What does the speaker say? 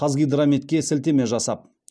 қазгидрометке сілтеме жасап